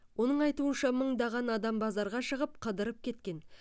оның айтуынша мыңдаған адам базарға шығып қыдырып кеткен